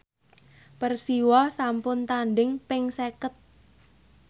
Persiwa sampun tandhing ping seket